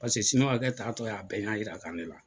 taatɔ y'a bɛɛ ɲa yira ka ne ke la.